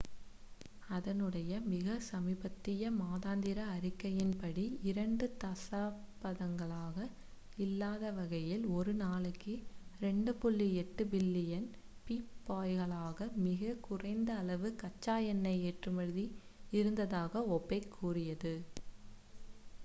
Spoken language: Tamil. அதனுடைய மிக சமீபத்திய மாதாந்திர அறிக்கையின்படி இரண்டு தசாப்தங்களாக இல்லாதவகையில் ஒரு நாளைக்கு 2.8 பில்லியன் பீப்பாய்களாக மிக குறைந்த அளவு கச்சா எண்ணெய் ஏற்றுமதி இருந்ததாக ஒபேக் கூறியது